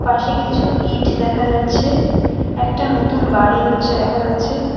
পাশে কিছু ইট দেখা যাচ্ছে একটা নতুন বাড়ি হচ্ছে দেখা যাচ্ছে।